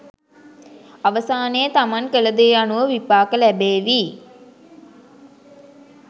අවසානයේ තමන් කලදේ අනුව විපාක ලැබේවි.